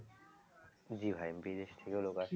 জি ভাই বিদেশ থেকেও লোক আসে